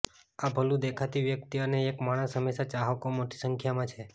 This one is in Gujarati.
આ ભલું દેખાતી વ્યક્તિ અને એક માણસ હંમેશા ચાહકો મોટી સંખ્યામાં છે